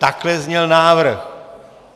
Takhle zněl návrh.